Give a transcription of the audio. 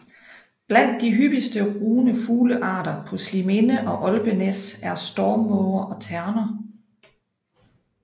Blandt de hyppigste rugende fuglearter på Sliminde og Olpenæs er stormmåger og terner